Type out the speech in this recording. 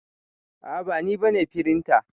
A'a ba ni bane firinta.